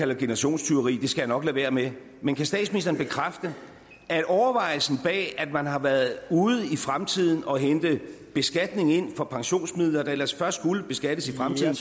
det generationstyveri det skal jeg nok lade være med men kan statsministeren bekræfte at overvejelsen bag at man har været ude i fremtiden og hente beskatning ind fra pensionsmidler der ellers først skulle beskattes i fremtiden